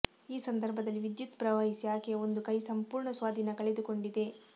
ಈ ಸಂದರ್ಭದಲ್ಲಿ ವಿದ್ಯುತ್ ಪ್ರವಹಿಸಿ ಆಕೆಯ ಒಂದು ಕೈ ಸಂಪೂರ್ಣ ಸ್ವಾಧೀನ ಕಳೆದುಕೊಂಡಿದೆ